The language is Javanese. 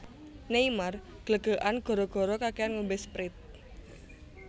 Neymar glegeken gara gara kakean ngombe Sprite